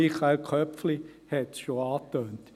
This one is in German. Michael Köpfli hat es schon angetönt.